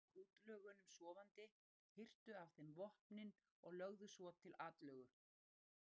Þeir komu að útlögunum sofandi, hirtu af þeim vopnin og lögðu svo til atlögu.